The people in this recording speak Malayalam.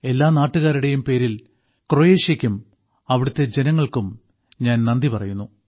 എല്ലാ നാട്ടുകാരുടേയുംപേരിൽ ക്രൊയേഷ്യയ്ക്കും അവിടുത്തെ ജനങ്ങൾക്കും ഞാൻ നന്ദി പറയുന്നു